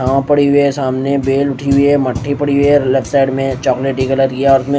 पड़ी हुई है सामने बेल उठी हुई है मट्ठी पड़ी हुई है और लेफ्ट साइड में चॉकलेटी कलर की में--